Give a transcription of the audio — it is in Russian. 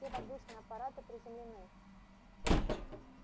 все воздушные аппараты приземлены